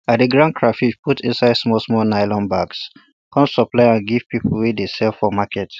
i dey ground crayfish put inside small small nylon bags come supply am give people wey dey sell for market